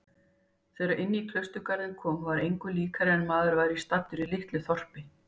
Þegar inní klausturgarðinn kom var engu líkara en maður væri staddur í litlu þorpi.